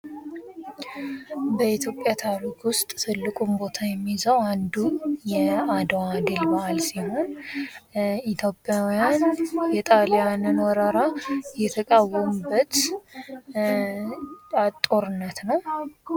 በኢትዮጵያ ታሪክ ውስጥ ትልቁን ቦታ የሚይዘው አንዱ የአድዋ ድል በዓል ሲሆን ኢትዮጵያውያን የጣሊያንን ወረራ የተቃወሙበት ጦርነት ነው።